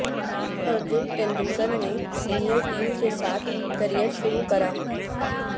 ارجن ٹنڈولکر نے senior team کے ساتھ کریئر شروع کیا